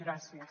gràcies